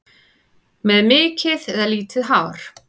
Með mikið eða lítið hár?